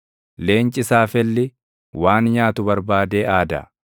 Leenci saafelli waan nyaatu barbaadee aada; nyaata isaas Waaqa bira barbaada.